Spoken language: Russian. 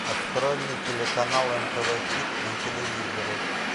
открой мне телеканал нтв хит на телевизоре